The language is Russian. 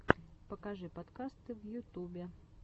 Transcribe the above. покажи подкасты в ютубе